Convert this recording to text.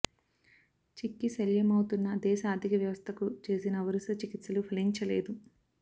చిక్కి శల్యమవుతున్న దేశ ఆర్థిక వ్యవస్థకు చేసిన వరుస చికిత్సలు ఫలించలేదు